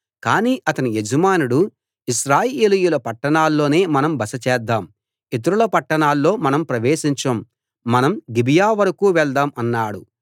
కానీ అతని యజమానుడు ఇశ్రాయేలీయుల పట్టణాల్లోనే మనం బస చేద్దాం ఇతరుల పట్టణాల్లో మనం ప్రవేశించం మనం గిబియా వరకూ వెళ్దాం అన్నాడు